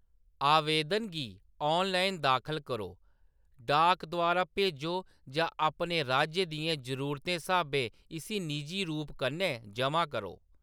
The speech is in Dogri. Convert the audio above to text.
आवेदन गी ऑनलाइन दाखल करो, डाक द्वारा भेजो जां अपने राज्य दियें जरूरतें स्हाबें इसी निजी रूप कन्नै जमा करो।